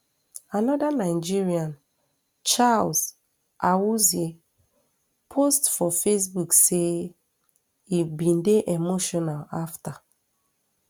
anoda nigerian charles awuzie post for facebook say im bin dey emotional afta